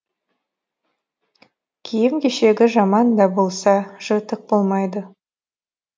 киім кешегі жаман да болса жыртық болмайды